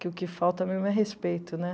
que o que falta mesmo é respeito, né?